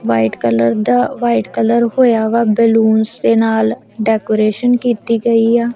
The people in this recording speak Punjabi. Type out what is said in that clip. ਵਾਈਟ ਕਲਰ ਦਾ ਵਾਈਟ ਕਲਰ ਹੋਇਆ ਵਾ ਬੈਲੂਨਸ ਦੇ ਨਾਲ ਡੈਕੋਰੇਸ਼ਨ ਕੀਤੀ ਗਈ ਆ।